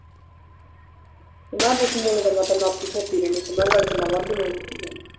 smell ਸਮੂਲ ਤੇ ਮੈਂ ਨਾਤੀ ਧੋਤੀ ਰਿਹੰਦੀ ਸਮੈੱਲ ਵਾਲੀ ਤੇ ਵਾਦੁ ਲਾਂਦੀ ਚੀਜ਼ਾ